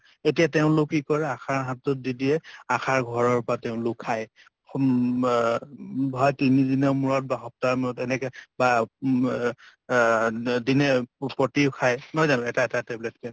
এতিয়া তেওঁলোক কি কৰে আশাৰ হাতত দি দিয়ে । আশাৰ ঘৰৰ পৰা তেওঁলোকে খাই হম বা তিনি দিনৰ মূৰত বা সপ্তাহৰ মূৰত এনেকে বা ম অ দিনে প্ৰতি খায় নহয় জানো এটা এটা tablet কে